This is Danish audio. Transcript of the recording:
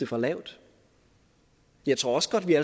for lavt jeg tror også godt vi